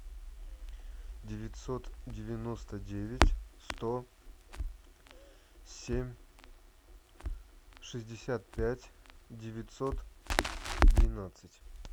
девятьсот девяносто девять сто семь шестьдесят пять девятьсот двенадцать